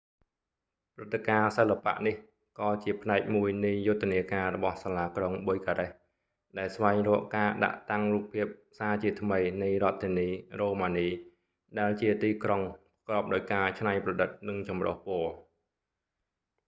ព្រឹត្តិការណ៍សិល្បៈនេះ ក៏ជាផ្នែកមួយនៃយុទ្ធនាការរបស់សាលាក្រុង bucharest ដែលស្វែងរកការដាក់តាំងរូបភាពសាជាថ្មីនៃរដ្ឋធានី រ៉ូម៉ានី ដែលជាទីក្រុងប្រកបដោយការច្នៃប្រឌិត និងចម្រុះពណ៌